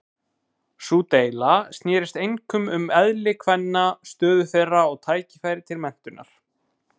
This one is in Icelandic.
Sú deila snerist einkum um eðli kvenna, stöðu þeirra og tækifæri til menntunar.